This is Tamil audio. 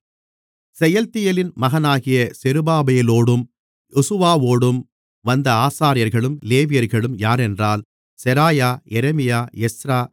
செயல்தியேலின் மகனாகிய செருபாபேலோடும் யெசுவாவோடும் வந்த ஆசாரியர்களும் லேவியர்களும் யாரென்றால் செராயா எரேமியா எஸ்றா